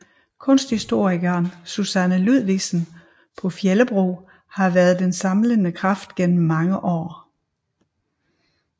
Kunsthistorikeren Susanne Ludvigsen på Fjellebro har været den samlende kraft igennem mange år